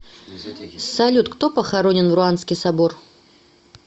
салют кто похоронен в руанский собор